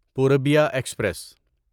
Purbiya express